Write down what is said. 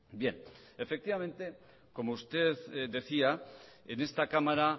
bien efectivamente como usted decía en esta cámara